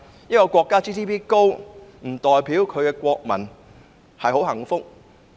一個國家的 GNP 高亦不代表其國民很幸福。